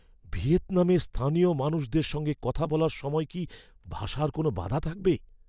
ভিয়েতনামে স্থানীয় মানুষদের সঙ্গে কথা বলার সময় কি ভাষার কোনও বাধা থাকবে?